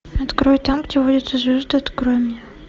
открой там где водятся звезды открой мне